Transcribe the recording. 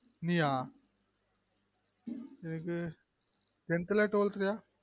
நீயா எதுக்கு ten th லயா twelve th லயா